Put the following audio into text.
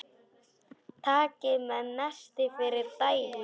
Takið með nesti fyrir daginn.